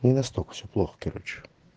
не настолько всё плохо короче